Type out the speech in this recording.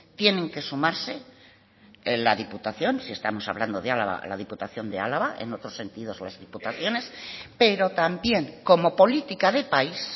tienen que sumarse la diputación si estamos hablando de álava la diputación de álava en otros sentidos las diputaciones pero también como política de país